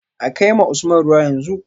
A kai ma Usman ruwa yanzu